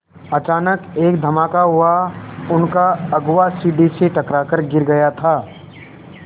अचानक एक धमाका हुआ उनका अगुआ सीढ़ी से टकरा कर गिर गया था